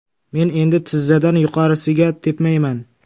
Men endi tizzadan yuqorisiga tepmayman.